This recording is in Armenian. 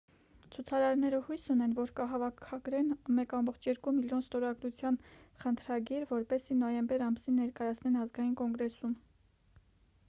ցուցարարները հույս ունեն որ կհավաքագրեն 1,2 միլիոն ստորագրության խնդրագիր որպեսզի նոյեմբեր ամսին ներկայացնեն ազգային կոնգրեսում